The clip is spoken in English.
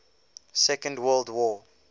second world war